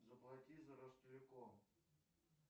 заплати за ростелеком